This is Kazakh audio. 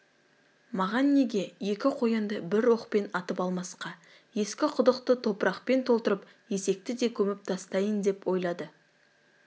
маған неге екі қоянды бір оқпен атып алмасқа ескі құдықты топырақпен толтырып есекті де көміп тастайын деп ойлады